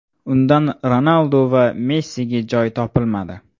Undan Ronaldu va Messiga joy topilmadi.